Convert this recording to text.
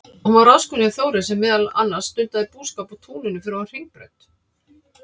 Hún var ráðskona hjá Þóri, sem meðal annars stundaði búskap á túninu fyrir ofan Hringbraut.